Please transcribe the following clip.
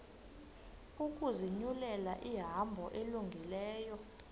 ukuzinyulela ihambo elungileyo